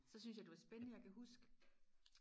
så synes jeg det var spændende jeg kan huske